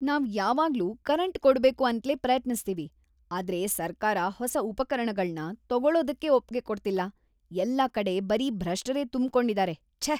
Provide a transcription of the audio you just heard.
‌ನಾವ್ ಯಾವಾಗ್ಲೂ ಕರೆಂಟ್ ಕೊಡ್ಬೇಕು ಅಂತ್ಲೇ ಪ್ರಯತ್ನಿಸ್ತೀವಿ, ಆದ್ರೆ ಸರ್ಕಾರ ಹೊಸ ಉಪಕರಣಗಳ್ನ ತೊಗೊಳೋದಕ್ಕೆ ಒಪ್ಗೆ ಕೊಡ್ತಿಲ್ಲ, ಎಲ್ಲ ಕಡೆ ಬರೀ ಭ್ರಷ್ಟರೇ ತುಂಬ್ಕೊಂಡಿದಾರೆ, ಛೆ!